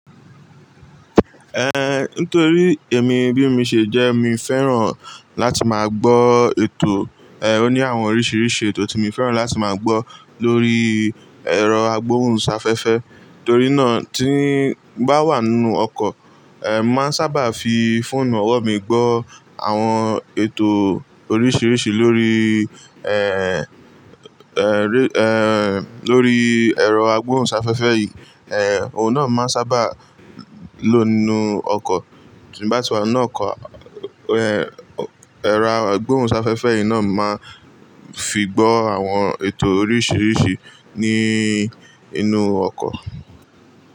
Eh, nítorí èmi bí mi ṣe jẹ́, mi féràn láti máa gbọ́ ètò, ẹ́, ó ní àwọn oríṣìíríṣìí ètò tí mi féràn láti máa gbọ́ lórí ẹ̀rọ agbóhùnsáfẹ́fẹ́. Torí náà tí ń bá wà nínú ọkọ̀, ẹ́, mo màá n sábà fi fóònù ọ̀wọ́ mi gbọ́ àwọn ètò oríṣìíríṣìí lórí ẹ́ẹ́, ẹ́ẹ́, ẹ́ẹ́, lórí ẹ̀rọ agbóhùnsáfẹ́fẹ́ yìí. Ẹ̀, òun náà máa sábà lọ̀ nínú ọkọ̀, tí bá ti wà nu ọkọ̀, ẹ́, ẹ̀rọ agbóhùnsáfẹ́fẹ́ yìí náà máa fi gbọ́ àwọn ètò oríṣìíríṣìí ní inú ọkọ̀.